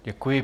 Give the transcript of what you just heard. Děkuji.